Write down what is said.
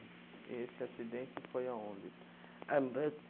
E esse acidente foi aonde?